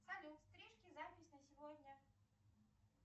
салют стрижки запись на сегодня